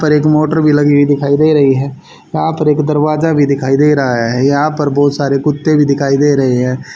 पर एक मोटर भी लगी हुई दिखाई दे रही है यहां पर एक दरवाजा भी दिखाई दे रहा है यहां पर बहुत सारे कुत्ते भी दिखाई दे रहे है।